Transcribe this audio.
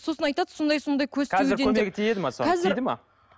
сосын айтады сондай сондай тиді ме